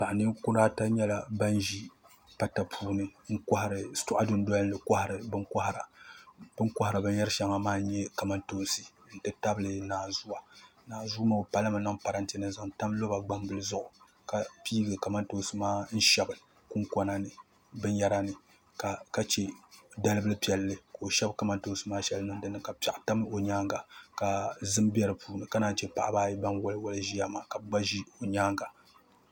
Paɣ' ninkura ata nyɛla ban ʒi pata puuni shitɔɣu dunoli ni ni n-kɔhiri bin' kɔhiri bɛ ni kɔhiri binshɛŋa maa shɛŋa n-nyɛ maa n-nyɛ kamantoonsi nti tabili naanzu o zaŋla naanzuu maa o palimi n-niŋ parante ni ka zaŋli tam lɔba gbambili zuɣu ka piigi kamantoonsi maa n-shɛbi kunkɔna binyɛra ni ka che dalibil' piɛlli ka o shɛbi kamantoonsi maa shɛli niŋ di puuni ka piɛɣu tam o nyaaŋa ka zim be di puuni ka naayi che paɣaba ayi ban waliwali ʒiya ka bɛ gba ʒi o nyaaŋa